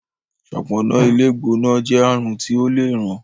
ṣọpọnna ilé gbóná jé àrùn ti ọ lẹ rán.